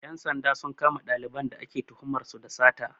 Ƴan sanda sun kama ɗaliban da ake tuhumar su da sata